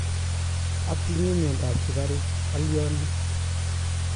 Atinye miondop sugaruk, aaliane?